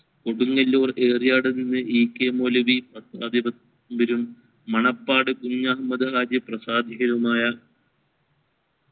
കൊടുങ്ങല്ലൂർ ഏറിയഡിൽ നിന്ന് E. K Moulavi Manappad Kunhahammed രാജ്യ പ്രസാദികരുമായ